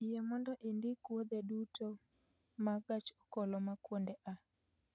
Yie mondo indik wuodhe duto mag gach okoloma kuonde a